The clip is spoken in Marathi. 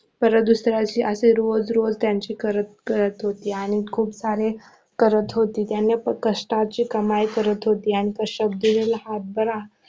परत दुसऱ्या दिवशी असं रोज रोज त्यांची करत करत होती आणि खूप सारे करत होते त्याने तो कष्टाचे कमाई करत होती कष्टात दिलेला हात बरा